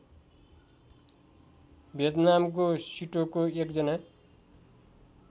भियतनामको सिटोको एकजना